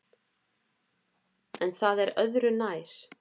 En það er öðru nær!